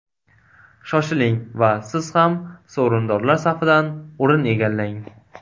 Shoshiling va siz ham sovrindorlar safidan o‘rin egallang!